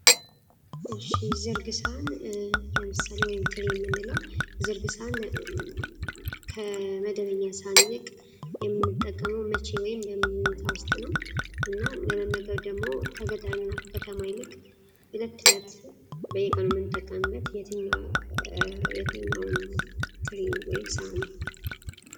ዘርግ ሳህን ወይም ትሪ የምንለው ዝርግ ሰሃን ከመደበኛ ቀን ይልቅ የምንጠቀመው በምን አይነት ወቅት ነው እና ደግሞ ከገጠርና ከከተማ ይልቅ በብዛት የሚጠቀሙበት የትኛው ሳሃን ነው?